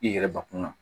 I yɛrɛ bakun na